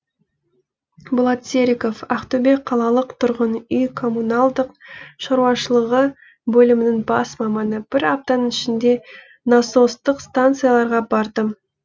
болат серіков ақтөбе қалалық тұрғын үй коммуналдық шаруашылығы бөлімінің бас маманы бір аптаның ішінде насостық станцияларға бардым